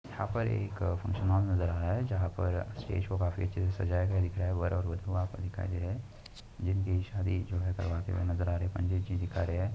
यहां पर एक फंक्शन ऑल नजर आ रहा है जहां पर स्टेज को काफी अच्छे से सजाया गया दिख रहा है वर और वधू वहां पर दिखाई दे रहे हैं जिनकी शादी जो है करवाते हुए नजर आ रहे हैं पंडित जी |